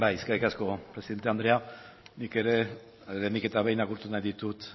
eskerrik asko presidente andrea nik ere lehenik eta behin agurtu nahi ditut